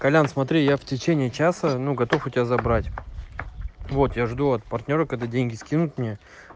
колян смотри я в течение часа ну готов у тебя забрать вот я жду от партнёра когда деньги скинут мне